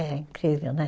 É incrível, né?